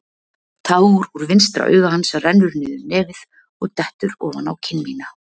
Tár úr vinstra auga hans rennur niður nefið og dettur ofan á kinn mína.